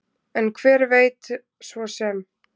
En hver veit svo sem?